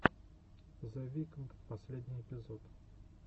зе викнд последний эпизод